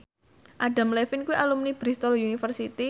Adam Levine kuwi alumni Bristol university